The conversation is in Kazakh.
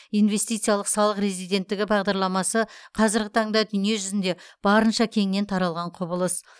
инвестициялық салық резиденттігі бағдарламасы қазіргі таңда дүние жүзінде барынша кеңінен таралған құбылыс